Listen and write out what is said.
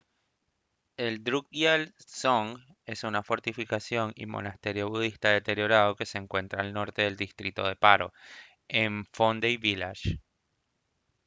el drukgyal dzong es una fortificación y monasterio budista deteriorado que se encuentra al norte del distrito de paro en phondey village